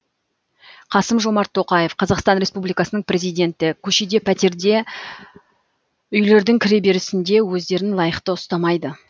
қасым жомарт тоқаев қазақстан республикасының президенті көшеде пәтерде үйлердің кіреберісінде өздерін лайықты ұстамайды